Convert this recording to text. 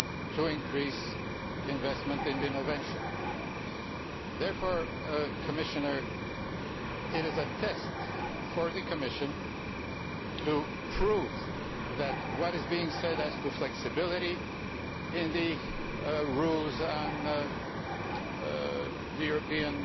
to increase investment in innovation. Therefore, Commissioner, this is a test for the Commission to prove that what is being said concerning flexibility in the rules on the European